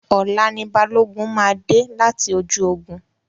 Ọ̀la ni Balógun máa dé láti ojú ogun.